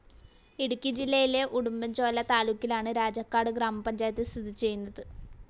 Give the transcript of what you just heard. ഇടുക്കി ജില്ലയിലെ ഉടുമ്പൻചോല താലൂക്കിലാണ് രാജാക്കാട് ഗ്രാമപഞ്ചായത്ത് സ്ഥിതി ചെയ്യുന്നത്.